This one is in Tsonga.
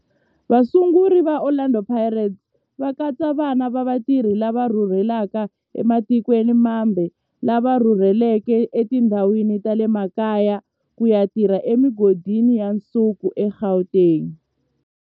Vasunguri va Orlando Pirates va katsa vana va vatirhi lava rhurhelaka ematikweni mambe lava rhurheleke etindhawini ta le makaya ku ya tirha emigodini ya nsuku eGauteng.